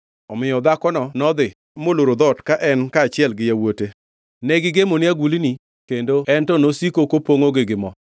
Omiyo dhakono nodhi moloro dhoot ka en kaachiel gi yawuote. Negigemone agulni kendo en to nosiko kopongʼogi gi mo.